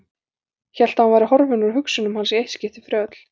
Hélt að hún væri horfin úr hugsunum hans í eitt skipti fyrir öll.